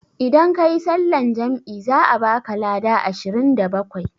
Idan kayi sallan jam'i za a baka lada ashirin da bakwai